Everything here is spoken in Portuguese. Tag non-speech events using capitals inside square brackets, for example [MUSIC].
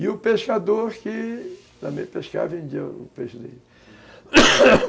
E o pescador que também pescava e vendia o peixe dele [COUGHS]